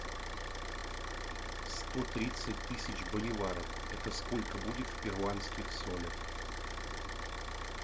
сто тридцать тысяч боливаров это сколько будет в перуанских солях